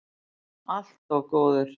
Allt of góður.